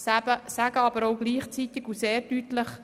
Wir sagen aber gleichzeitig und sehr deutlich: